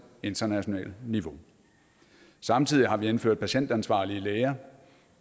internationale niveau samtidig har vi indført patientansvarlige læger